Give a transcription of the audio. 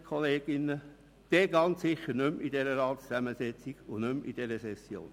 Bis dann wäre der Grosse Rat sicher nicht mehr so zusammengesetzt wie während dieser Session.